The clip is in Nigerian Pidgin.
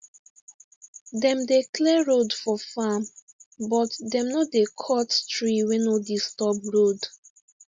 dem dey clear road for farm but dem no dey cut tree wey no disturb road